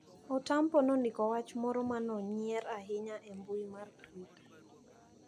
Otampo Nondiko wach moro manonyier ahinya e mbui mar twitter.